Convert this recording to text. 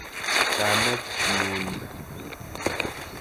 Kamet nyu ni.